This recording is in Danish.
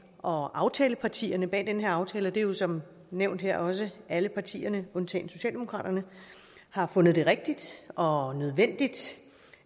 og aftalepartierne bag den her aftale og det er jo som nævnt her også alle partierne undtagen socialdemokratiet har fundet det rigtigt og nødvendigt